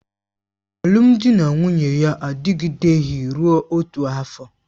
Alụmdi na nwunye ya adịgideghị rụọ otu afọ